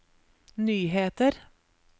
nyheter